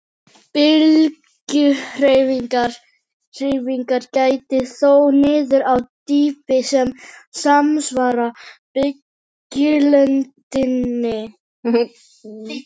Bylgjuhreyfingar gætir þó niður á dýpi sem samsvarar bylgjulengdinni.